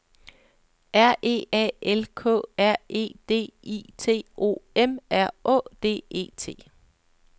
R E A L K R E D I T O M R Å D E T